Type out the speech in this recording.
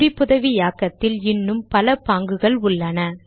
குறிப்புதவியாக்கத்தில் இன்னும் பல பாங்குகள் உள்ளன